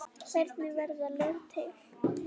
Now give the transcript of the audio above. Hvernig verða lög til?